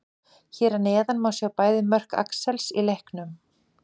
Hér að neðan má sjá bæði mörk Axels í leiknum.